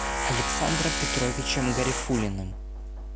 александром петровичем гарифуллиным